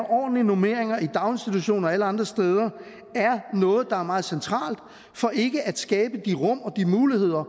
ordentlige normeringer i daginstitutioner og alle andre steder er noget der er meget centralt for ikke at skabe de rum og de muligheder